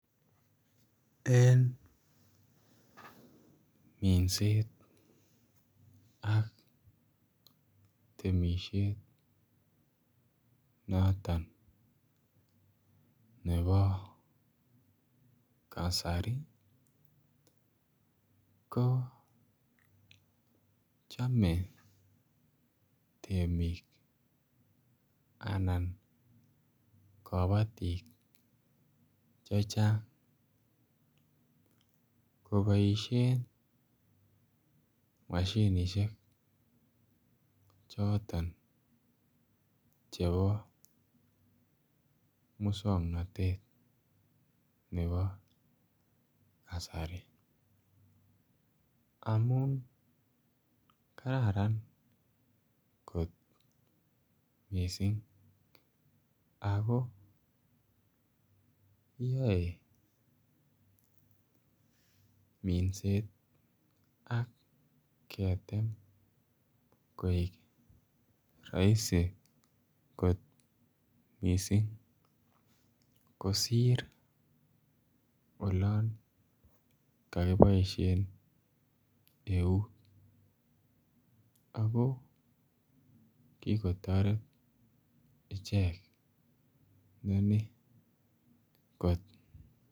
En minset ak temisiet noton nebo kasari ko chome temik anan kobotik chechang Jo boishen moshinishek choton chebo muswongnotet nebo kasari amun kararan kot missing ako yoe minset ak ketem koik raising jot missing kosir olon koki boishen eut ako kiko toret ichek noni kot